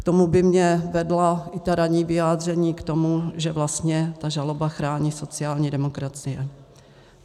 K tomu by mě vedla i ta ranní vyjádření k tomu, že vlastně ta žaloba chrání sociální demokracii.